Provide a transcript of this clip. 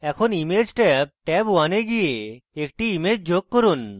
এখন image tab tab1 এ গিয়ে একটি image যোগ করুন